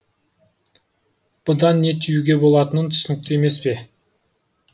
бұдан не түюге болатыны түсінікті емеспе